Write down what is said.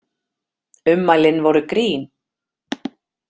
Ummælin voru grín